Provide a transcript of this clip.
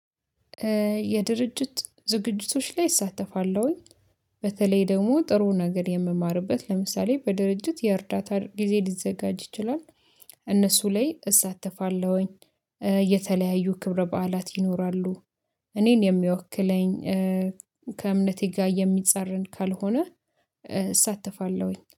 የድርጅት ዝግጅቶች ላይ እሳተፋለሁኝ በተለይ ደግሞ ጥሩ ነገር የምማርበት ለምሳሌ በድርጅት የእርዳታ ጊዜ ሊዘጋጅ ይችላል። እነሱ ላይ እሳተፋለሁኝ። የተለያዩ ክብረ በዓላት ይኖራሉ። እኔን የሚወክለኝ ከእምነቴ ጋር የሚጻረን ካልሆነ። እሳተፋለሁኝ